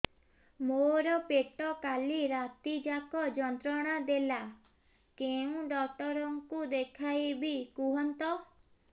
ମୋର ପେଟ କାଲି ରାତି ଯାକ ଯନ୍ତ୍ରଣା ଦେଲା କେଉଁ ଡକ୍ଟର ଙ୍କୁ ଦେଖାଇବି କୁହନ୍ତ